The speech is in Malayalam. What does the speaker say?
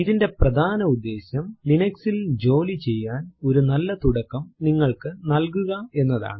ഇതിന്റെ പ്രധാന ഉദ്ദേശ്യം Linux ൽ ജോലി ചെയ്യാൻ ഒരു നല്ല തുടക്കം നിങ്ങൾക്കു നൽകുക എന്നതാണ്